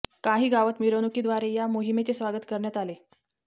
काही गावात मिरवणुकीद्वारे या मोहिमेचे स्वागत करण्यात आले